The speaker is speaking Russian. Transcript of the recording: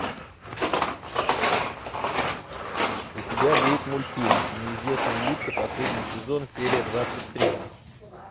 у тебя будет мультфильм неизвестные лица последний сезон серия двадцать три